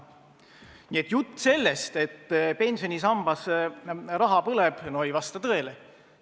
Nii et jutt sellest, et pensionisambas raha põleb, ei vasta tõele.